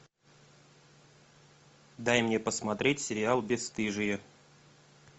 дай мне посмотреть сериал бесстыжие